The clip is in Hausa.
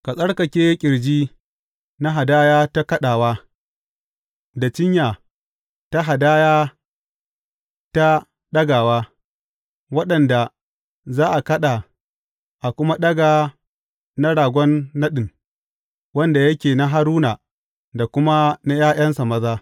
Ka tsarkake ƙirji na hadaya ta kaɗawa, da cinya ta hadaya ta ɗagawa, waɗanda za a kaɗa a kuma ɗaga na ragon naɗin, wanda yake na Haruna da kuma na ’ya’yansa maza.